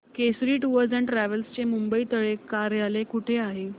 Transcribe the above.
Kesari tours and travels चे मुंबई तले कार्यालय कुठे आहे